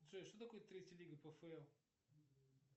джой что такое третья лига пфл